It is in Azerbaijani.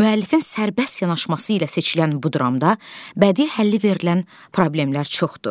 müəllifin sərbəst yanaşması ilə seçilən bu dramda bədii həlli verilən problemlər çoxdur.